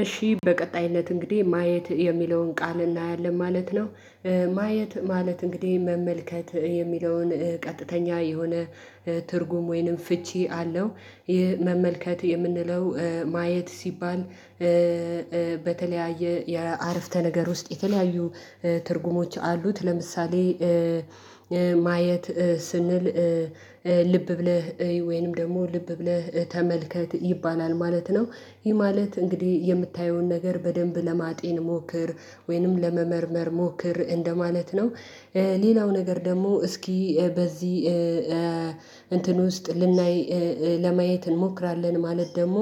እሺ በቀጣይነት እንግዲህ ማየት የሚለውን ቃል እናያለን ማለት ነው። ማየት ማለት እንግዲህ መመልከት የሚለውን ቀጥተኛ የሆነ ትርጉም ወይንም ፍቺ አለው። ይህ መመልከት የምንለው ማየት ሲባል። በተለያየ የአረፍተ ነገር ውስጥ የተለያዩ ትርጉሞች አሉት። ለምሳሌ ማየት ስንል ልብ ብለህ እይ ወይንም ደግሞ ልብ ብለህ ተመልከት ይባላል ማለት ነው። ይሄ ማለት እንግዲህ የምታየውን ነገር በደንብ ለማጤን ሞክር ወይንም ለመመርመር ሞክር እንደማለት ነው። ሌላው ነገር ደግሞ እስኪ በዚህ እንትን ውስጥ ልናይ ለማየት እንሞክራለን። ማለት ደግሞ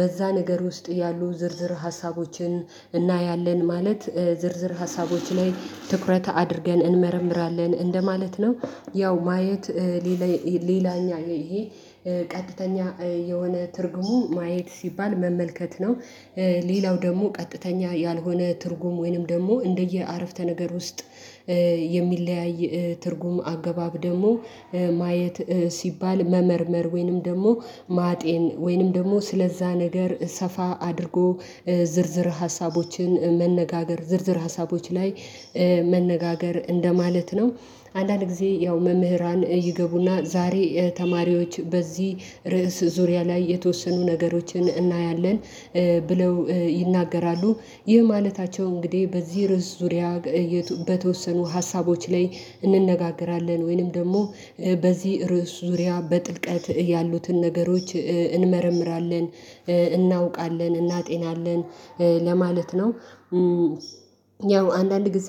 በዛ ነገር ውስጥ ያሉ ዝርዝር ሀሳቦችን እናያለን ማለት ዝርዝር ሀሳቦች ላይ ትኩረት አድርገን እንመረምራለን እንደማለት ነው። ያው ማየት ሌላ ሌላኛ ይሄ ቀጥተኛ የሆነ ትርጉሙ ማየት ሲባል መመልከት ነው። ሌላው ደግሞ ቀጥተኛ ያልሆነ ትርጉም ወይንም ደግሞ እንደየ አረፍተ ነገር ውስጥ። የሚለያይ ትርጉም አገባብ ደግሞ ማየት ሲባል መመርመር ወይንም ደግሞ ማጤን ወይንም ደግሞ ስለዛ ነገር ሰፋ አድርጎ ዝርዝር ሀሳቦችን መነጋገር ዝርዝር ሀሳቦች ላይ መነጋገር እንደማለት ነው። አንዳንድ ጊዜ ያው መምህራን ይገቡና ዛሬ ተማሪዎች በዚህ ርዕስ ዙሪያ ላይ የተወሰኑ ነገሮችን እናያለን ብለው ይናገራሉ። ይህ ማለታቸው እንግዲህ በዚህ ርዕስ ዙሪያ በተወሰኑ ሀሳቦች ላይ እንነጋገራለን ወይንም ደግሞ በዚህ ርዕስ ዙሪያ በጥልቀት ያሉትን ነገሮች እንመረምራለን እናውቃለን እናጤናለን ለማለት ነው። ያው አንዳንድ ጊዜ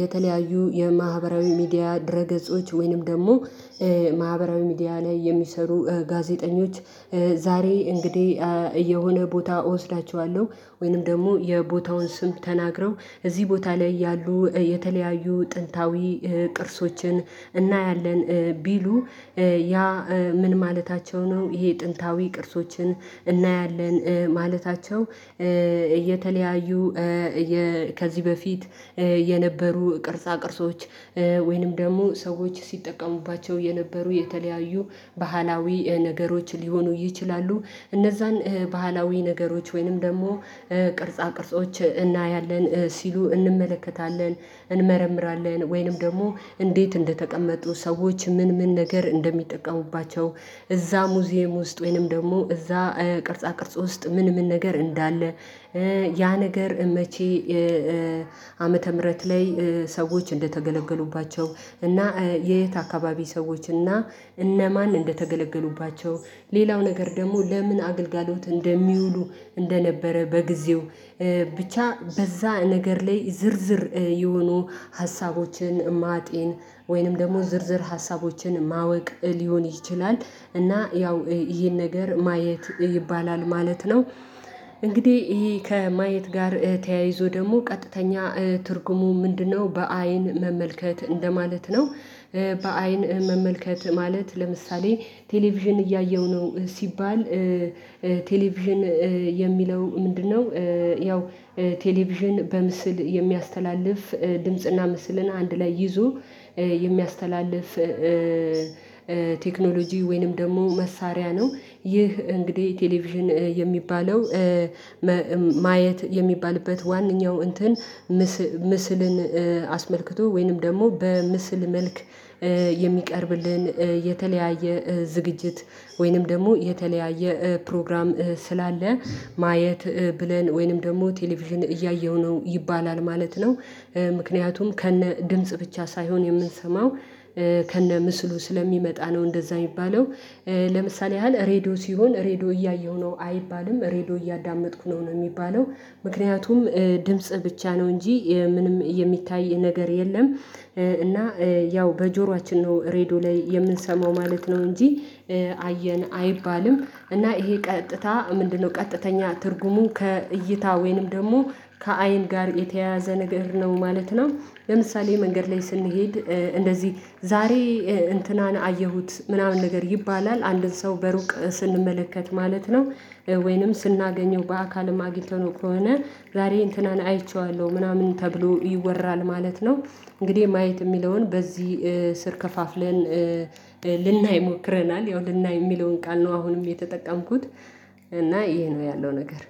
የተለያዩ የማህበራዊ ሚዲያ ድረ ገጾች ወይንም ደግሞ ማህበራዊ ሚዲያ ላይ የሚሰሩ ጋዜጠኞች። ዛሬ እንግዲህ የሆነ ቦታ እወስዳቸዋለሁ ወይንም ደግሞ የቦታውን ስም ተናግረው እዚህ ቦታ ላይ ያሉ የተለያዩ ጥንታዊ ቅርሶችን እናያለን ቢሉ። ያ ምን ማለታቸው ነው? ይሂ ጥንታዊ ቅርሶችን እናያለን ማለታቸው እየተለያዩ ከዚህ በፊት የነበሩ ቅርጻ ቅርጾች ወይንም ደግሞ ሰዎች ሲጠቀሙባቸው የነበሩ የተለያዩ ባህላዊ ነገሮች ሊሆኑ ይችላሉ። እነዛን ባህላዊ ነገሮች ወይንም ደግሞ ቅርጻ ቅርጾች እናያለን ሲሉ እንመለከታለን እንመረምራለን ወይንም ደግሞ እንዴት እንደተቀመጡ ሰዎች ምን ምን ነገር እንደሚጠቀሙባቸው። እዛ ሙዚየም ውስጥ ወይንም ደግሞ እዛ ቅርጻ ቅርጽ ውስጥ ምን ምን ነገር እንዳለ። ያ ነገር መቼ ዓመተ ምህረት ላይ ሰዎች እንደተገለገሉባቸው እና የየት አካባቢ ሰዎች እና እነማን እንደተገለገሉባቸው ሌላው ነገር ደግሞ ለምን አግልጋሎት እንደሚውሉ እንደነበረ በጊዜው ብቻ በዛ ነገር ላይ ዝርዝር የሆኑ ሀሳቦችን ማጤን ወይንም ደግሞ ዝርዝር ሀሳቦችን ማወቅ ሊሆን ይችላል። እና ያው ይሄን ነገር ማየት ይባላል ማለት ነው። እንግዲህ ይሄ ከማየት ጋር ተያይዞ ደግሞ ቀጥተኛ ትርጉሙ ምንድነው? በአይን መመልከት እንደማለት ነው። በአይን መመልከት ማለት ለምሳሌ ቴሌቪዥን እያየሁ ነው። ሲባል ቴሌቪዥን የሚለው ምንድነው? ያው ቴሌቪዥን በምስል የሚያስተላልፍ ድምጽና ምስልን አንድ ላይ ይዞ የሚያስተላልፍ ቴክኖሎጂ ወይንም ደግሞ መሳሪያ ነው። ይህ እንግዲህ ቴሌቪዥን የሚባለው ማየት የሚባልበት ዋናው እንትን ምስልን አስመልክቶ ወይንም ደግሞ በምስል መልክ የሚቀርብልን የተለያየ ዝግጅት ወይንም ደግሞ የተለያየ ፕሮግራም ስላለ ማየት ብለን ወይንም ደግሞ ቴሌቪዥን እያየሁ ነው ይባላል ማለት ነው። ምክንያቱም ከነ ድምጽ ብቻ ሳይሆን የምንሰማው ከነ ምስሉ ስለሚመጣ ነው እንደዛ የሚባለው። ለምሳሌ ያህል ሬድዮ ሲሆን ሬድዮ እያየሁ ነው አይባልም ሬድዮ እያዳመጥኩ ነው ነው የሚባለው። ምክንያቱም ድምጽ ብቻ ነው እንጂ ምንም የሚታይ ነገር የለም። እና ያው በጆሯችን ነው ሬዶ ላይ የምንሰማው ማለት ነው እንጂ አየን አይባልም። እና ይሄ ቀጥታ ምንድነው? ቀጥተኛ ትርጉሙ ከእይታ ወይንም ደግሞ ከአይን ጋር የተያያዘ ነገር ነው ማለት ነው። ለምሳሌ መንገድ ላይ ስንሄድ እንደዚህ ዛሬ እንትናን አየሁት ምናምን ነገር ይባላል አንድን ሰው በሩቅ ስንመለከት ማለት ነው። ወይንም ስናገኘው በአካልም አግኝተነው ከሆነ ዛሬ እንትናን አይቼዋለሁ ምናምን ተብሎ ይወራል ማለት ነው። እንግዲህ ማየት የሚለውን በዚህ ስር ከፋፍለን ልናይ ሞክረናል ያው ልናይ የሚለውን ቃል ነው አሁንም የተጠቀምኩት እና ይሄ ነው ያለው ነገር